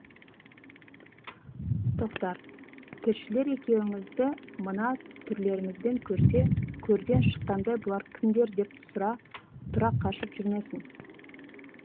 тоқтар тілшілер екеуіңізді мына түрлеріңізбен көрсе көрден шыққандай бұлар кімдер деп тұра қашып жүрмесін